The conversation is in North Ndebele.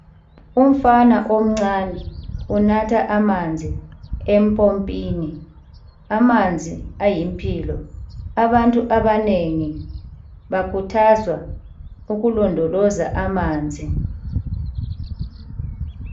Umfana omncane, unatha amanzi empompini. Amanzi ayimpilo. Abantu abanengi, bakhuthazwa ukulondoloza amanzi.